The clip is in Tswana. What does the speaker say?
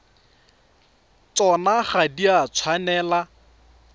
tsona ga di a tshwanela